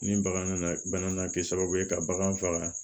Ni bagan nana bana na kɛ sababu ye ka bagan faga